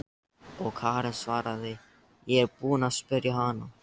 Og Karen svaraði: Ég er búin að spyrja hana.